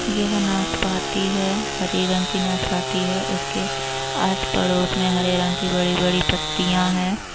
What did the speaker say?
यह नाशपाती है हरे रंग की नाशपाती है। इसके आस पड़ोस में हरे रंग की बड़ी-बड़ी पत्तियां हैं।